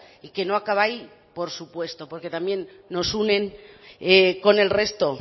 y que no acaba ahí por supuesto porque también nos unen con el resto